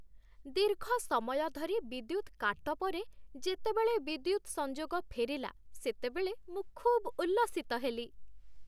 ଦୀର୍ଘ ସମୟ ଧରି ବିଦ୍ୟୁତ କାଟ ପରେ ଯେତେବେଳେ ବିଦ୍ୟୁତ ସଂଯୋଗ ଫେରିଲା ସେତେବେଳେ ମୁଁ ଖୁବ୍ ଉଲ୍ଲସିତ ହେଲି।